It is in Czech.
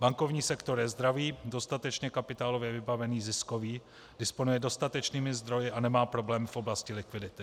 Bankovní sektor je zdravý, dostatečně kapitálově vybavený, ziskový, disponuje dostatečnými zdroji a nemá problém v oblasti likvidity.